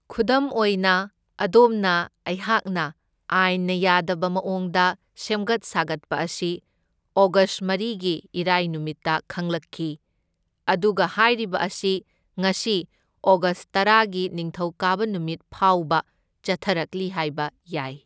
ꯈꯨꯗꯝ ꯑꯣꯏꯅ ꯑꯗꯣꯝꯅ ꯑꯩꯍꯥꯛꯅ ꯑꯥꯏꯟꯅ ꯌꯥꯗꯕ ꯃꯑꯣꯡꯗ ꯁꯦꯝꯒꯠ ꯁꯥꯒꯠꯄ ꯑꯁꯤ ꯑꯣꯒꯁ ꯃꯔꯤꯒꯤ ꯏꯔꯥꯏ ꯅꯨꯃꯤꯠꯇ ꯈꯪꯂꯛꯈꯤ, ꯑꯗꯨꯒ ꯍꯥꯏꯔꯤꯕ ꯑꯁꯤ ꯉꯁꯤ ꯑꯣꯒꯁ ꯇꯔꯥꯒꯤ ꯅꯤꯡꯊꯧꯀꯥꯕ ꯅꯨꯃꯤꯠꯐꯥꯎꯕ ꯆꯠꯊꯔꯛꯂꯤ ꯍꯥꯏꯕ ꯌꯥꯢ꯫